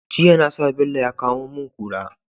Jiya nasa bello ya kamo mun kura